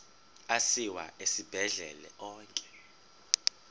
asiwa esibhedlele onke